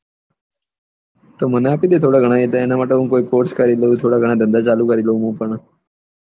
તો મને આપી દે થોડા ઘણા એ બે ને માટે હું પોસ્ટ કરી દઉં થોડા ઘણા ધંધા ચાલુ કરી દઉં હું તને